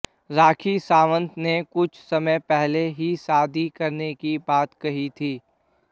राखी सावंत ने कुछ समय पहले ही शादी करने की बात कही थी